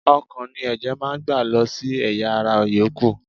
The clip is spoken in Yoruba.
Ọkàn ni ẹ̀jẹ̀ máa ń gbà lọ sí ẹ̀yà - ara yòókù.